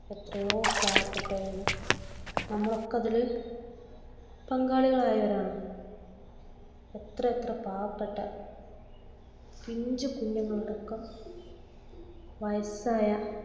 എത്രയോ പാവപ്പെട്ടവരും നമ്മളൊക്കെ അതിൽ പങ്കാളിയായവരുമാണ്. എത്രയെത്ര പാവപ്പെട്ട പിഞ്ചു കുഞ്ഞുങ്ങൾ അടക്കം വയസ്സായ